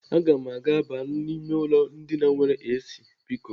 Aga m aga aba ime ụlọ ndina nwere AC biko.